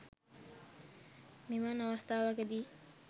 මෙවන් අවස්ථාවකදී